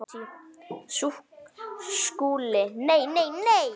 SKÚLI: Nei, nei, nei!